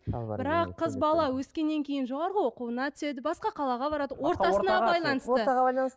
бірақ қыз бала өскеннен кейін жоғарғы оқу орнына түседі басқа қалаға барады ортасына байланысты ортаға байланыс